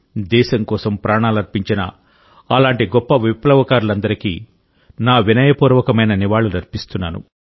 దేశం కోసం ప్రాణాలర్పించిన అలాంటి గొప్ప విప్లవకారులందరికీ నా వినయపూర్వకమైన నివాళులు అర్పిస్తున్నాను